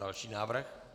Další návrh.